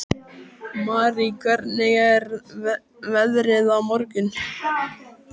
Marý, hvernig er veðrið á morgun?